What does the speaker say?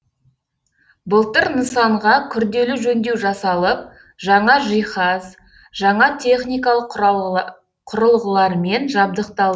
былтыр нысанға күрделі жөндеу жасалып жаңа жиһаз жаңа техникалық құрылғылармен жабдықталды